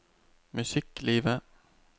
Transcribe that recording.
musikklivet